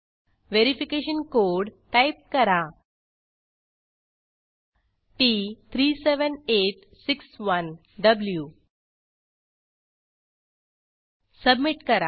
verification code type करा t37861व्ही submit करा